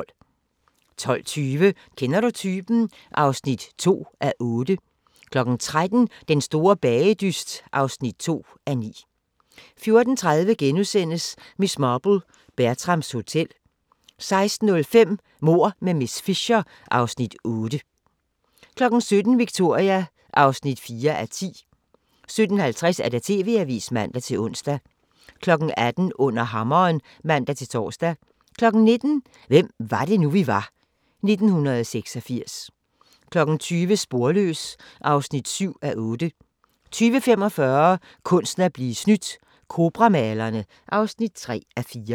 12:20: Kender du typen? (2:8) 13:00: Den store bagedyst (2:9) 14:30: Miss Marple: Bertrams Hotel * 16:05: Mord med miss Fisher (Afs. 8) 17:00: Victoria (4:10) 17:50: TV-avisen (man-ons) 18:00: Under hammeren (man-tor) 19:00: Hvem var det nu, vi var – 1986 20:00: Sporløs (7:8) 20:45: Kunsten at blive snydt – Cobra-malerne (3:4)